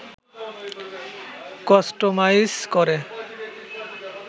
customise করে